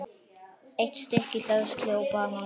Eitt stykki hleðslu og banana.